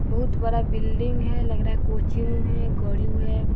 बहुत बड़ा बिल्डिंग है लग रहा है कोचिंग है गड्यू है।